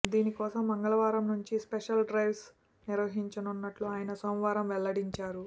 దీనికోసం మంగళవారం నుంచి స్పెషల్ డ్రైవ్స్ నిర్వహించనున్నట్లు ఆయన సోమవారం వెల్లడించారు